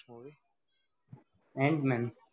antman